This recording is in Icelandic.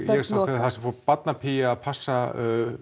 sá þar sem barnapía fór að passa